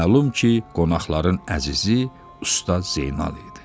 Məlum ki, qonaqların əzizi Usta Zeynal idi.